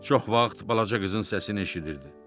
Çox vaxt balaca qızın səsini eşidirdi.